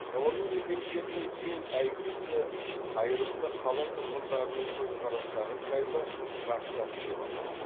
ғылыми еңбектерінің ең әйгілісі қайырымды қала тұрғындарының көзқарастары жайлы трактат деп аталады